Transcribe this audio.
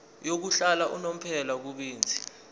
yokuhlala unomphela kubenzi